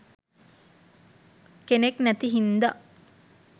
කෙනෙක් නැති හින්දා